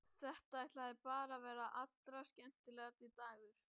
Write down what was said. Þetta ætlaði bara að verða allra skemmtilegasti dagur.